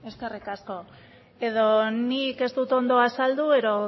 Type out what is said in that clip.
eskerrik asko edo nik ez dut ondo azaldu edo